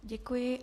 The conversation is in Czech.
Děkuji.